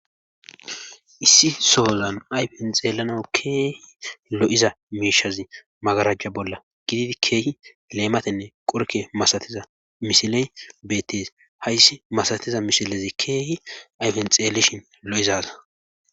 issi sohozan ayfen xeelana keehi lo7iza miishazi magarajja bolla gididi keehi leematenne qorke masatiza mishiley beettes hayssi masatiza mishilezi keehi ayfen xeeleshin lo7izaza